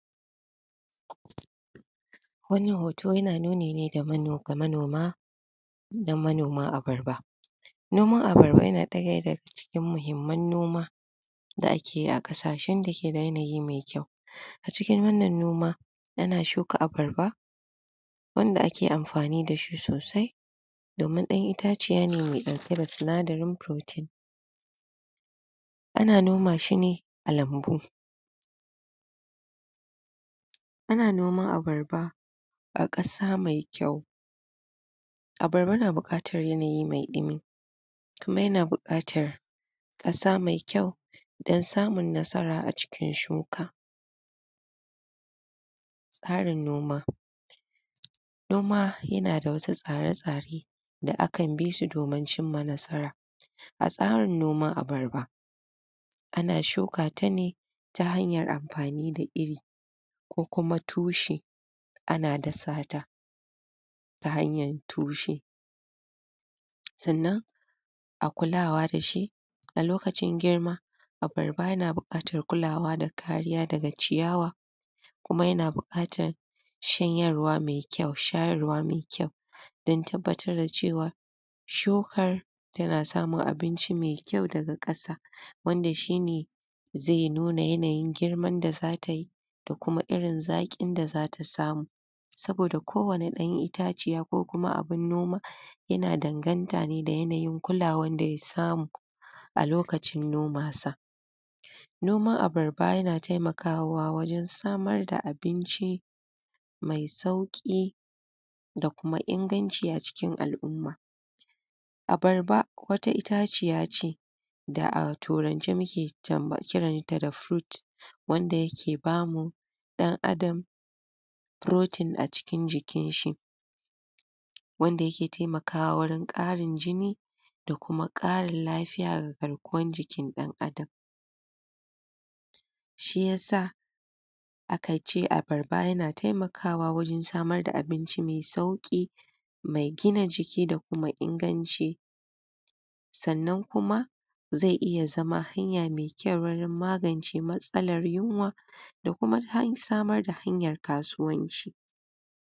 wannan hoto yana nuni ne ga manoma na manoman Abarba noman Abarba yana ɗaya daga cikin muhimman noma da akeyi a ƙasashen dake da yanayi me kyau a cikin wannan noma ana shuka Abarba wanda ake amfani dashi sosai domin ɗan itaciya ne dake ɗauke da sinadarin protein ana noma shine a lambu ana noman Abarba a ƙasa me kyau Abarba na buƙatar yanayi me ɗumi kuma yana buƙatar ƙasa me kyau don samun nasara a cikin shuka noma noma yana da wani tsare tsare da akan bishi domin cimma nasara. A tsarin noman Abarab ana shuka tane ta hanyar amfani da iri ko kuma tushe ana dasata ta hanyar tushe sannan a kulawa dashi a lokacin girma Abarba na buƙatar kulawa da kariya daga ciyawa kuma yana buƙatar shayarwa me kyau don tabbabtar da cewa shukar tana samun abinci me kyau daga ƙasa wannan shine ze nuna yanayin girman da zatayi da kuma irin zaƙin da zata samu saboda kowanne ɗan itaciya ko kuma abin noma yana danganta ne da aynayin kulawar daya samu a lokacin noman sa noman Abarba yana taimakawa wajean samar da abinci me sauƙi da kuma inganci a cikin alʼumma Abarba wata itaciya ce da a turance muke kiranta da [fruit] wanda yake bamu ɗan adam protein a cikin jikin shi wanda yake taimakawa wajen ƙarin jini da kuma ƙarin lafiya ga garkuwa jikin ɗan adam shiya sa aka ce Abarba yana taimakawa wajen samar da abinci me sauƙi me gina jiki da kuma inganci sannan kuma ze iya zama hanya me kyau gurin magance matsalar yunwa da kuma samar da hanyar kasuwanci